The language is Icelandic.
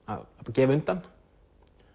gefa undan